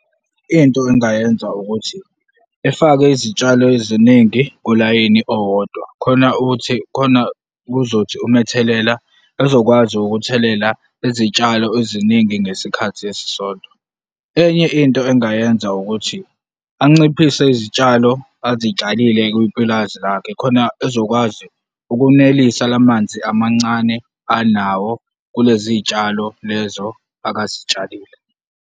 Into engayenza ukuthi efake izitshalo eziningi kulayini owodwa khona ukuthi, khona kuzothi uma ethelela, ezokwazi ukuthelela izitshalo eziningi ngesikhathi esisodwa. Enye into engingayenza ukuthi anciphisa izitshalo azitshalile kupulazi lakhe, khona ezokwazi ukunelisa lamanzi amancane anawo kulezi zitshalo lezo abazitshalile.